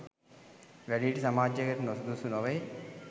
වැඩිහිටි සමාජයකට නොසුදුසු නොවෙයි